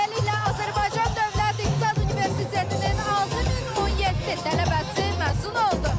Beləliklə, Azərbaycan Dövlət İqtisad Universitetinin 6017 tələbəsi məzun oldu.